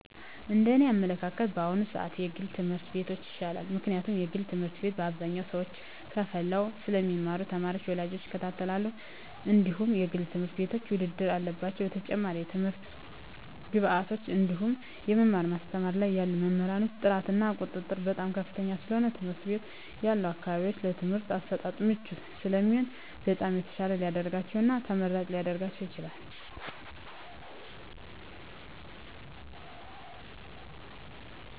እንደ እኔ አመለካከት በአሁኑ ስዓት የግል ትምህርት ቤቶች ይሻላል ምክንያቱም የግል ትምህርት ቤት አብዛኞቹ ሰዎች ከፈለው ስለሚማሩ ተማሪ ወላጆች ይከታተላሉ እንድሁም የግል ትምህርት ቤቶች ውድድር አለባቸው በተጨማሪም ለትምህርት ግብዓቶች እንድሁም የመማር ማስተማር ላይ ያሉ መምህራን ጥራት እና ቁጥጥር በጣም ከፍተኛ ስለሆነ የትምህርት ቤት ያሉ አካባቢው ለትምህርት አሰጣጥ ምቹ ስለሚሆኑ በጣም የተሻለ ሊደርጋቸው እና ተመራጭ ሊረጋቸው ይችላል።